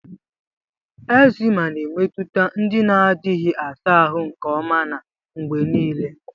Eczema na-emetụta ndị na-adịghị asa ahụ nke ọma na mgbe niile.